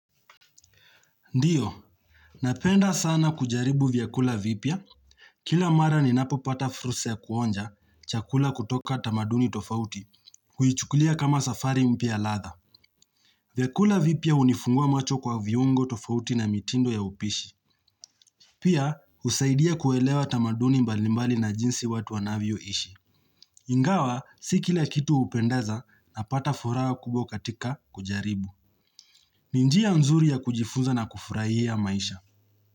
Ndiyo, napenda sana kujaribu vyakula vipya Kila mara ninapopata fursa ya kuonja chakula kutoka tamaduni tofauti huichukulia kama safari mpya ya ladha vyakula vipya hunifungua macho kwa viungo tofauti na mitindo ya upishi Pia, husaidia kuelewa tamaduni mbalimbali na jinsi watu wanavyo ishi Ingawa, si kila kitu hupendeza napata furaha kubwa katika kujaribu ni njia nzuri ya kujifunza na kufurahia maisha.